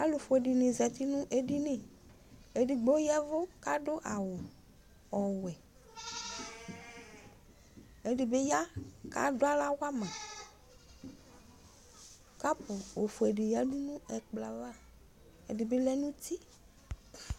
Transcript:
Alufue dini zati nʋ ediniEdigbo yɛvʋ , kadʋ awu ɔwɛƐdibi ya , kaduaɣla wamaKapu ofue di yanu ɛkplɔ'avaƐdibi lɛnuti